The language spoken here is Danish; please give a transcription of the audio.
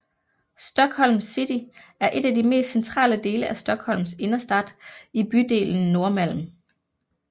Stockholms City er de mest centrale dele af Stockholms innerstad i bydelen Norrmalm